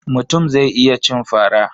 Mutum zai iya cin fara.